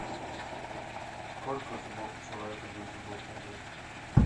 сколько зубов у человека без зубов мудрости